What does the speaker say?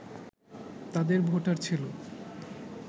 তাদের ভোটার ছিল